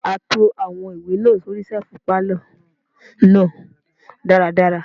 A to àwọn ìwé náà sóri ṣẹ́ẹ̀fù pálọ̀ náà dára dára.